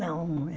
Não.